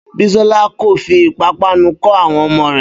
Bísọ́lá kò fi ìpápánu kọ́ àwọn ọmọ rẹ̀